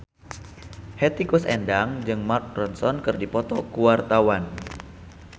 Hetty Koes Endang jeung Mark Ronson keur dipoto ku wartawan